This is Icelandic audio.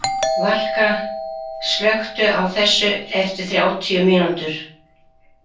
Valka, slökktu á þessu eftir þrjátíu mínútur.